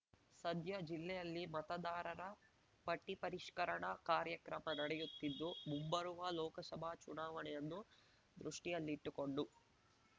ಸದ್ಯ ಜಿಲ್ಲೆಯಲ್ಲಿ ಮತದಾರರ ಪಟ್ಟಿಪರಿಷ್ಕರಣಾ ಕಾರ್ಯಕ್ರಮ ನಡೆಯುತ್ತಿದ್ದು ಮುಂಬರುವ ಲೋಕಸಭಾ ಚುನಾವಣೆಯನ್ನು ದೃಷ್ಟಿಯಲ್ಲಿಟ್ಟುಕೊಂಡು